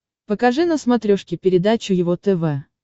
покажи на смотрешке передачу его тв